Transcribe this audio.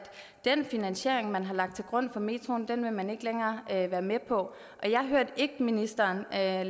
den finansiering man har lagt til grund for metroen vil man ikke længere være med på jeg hørte ikke ministeren lave